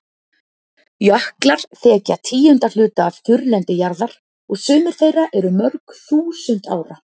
Jöklar þekja tíunda hluta af þurrlendi jarðar og sumir þeirra eru mörg þúsund ára.